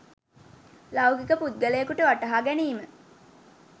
ලෞකික පුද්ගලයෙකුට වටහාගැනීම